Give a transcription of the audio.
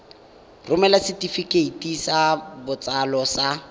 romela setefikeiti sa botsalo sa